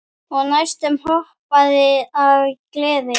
Ég næstum hoppaði af gleði.